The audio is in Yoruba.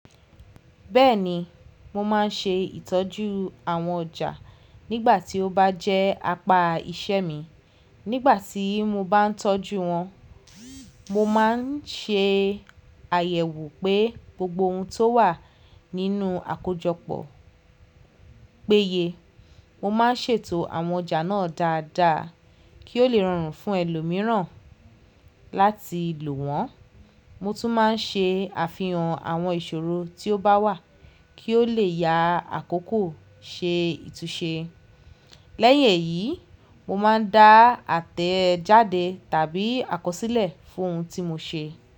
Bẹ́ẹ̀ni, mo má n ṣe ìtọ́jú àwọn ọjà nígbà tí ó bá jẹ́ apá iṣẹ́ mi. Nígbà tí mo bá n tọ́jú wọn, mo má n ṣe àyẹ̀wò pé gbogbo ohun tó wà nínú àkójọpọ̀ péye. Mo ma n ṣètò àwọn ọjà náà dáadáa kí ó le rọrùn fún ẹlòmíràn láti lò wọ́n. Mo tún má n ṣe àfihàn àwọn ìṣòro tí ó bá wà kí ó lè ya àkókò ṣe ìtúsé. Lẹ́yìn èyí, mo má n da àtẹ́ jáde tàbí àkọsílẹ̀ fún ohun tí mo ṣe.